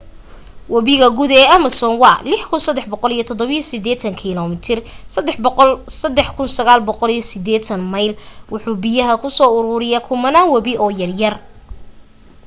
wabiga guud ee amazon waa 6,387 km 3,980 mayl. wuxu biyaha ka soo uruuriyaa kumanaan webi oo yaryar